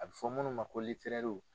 A bɛ fɔ munnu ma ko